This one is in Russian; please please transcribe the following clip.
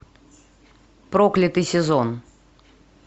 проклятый сезон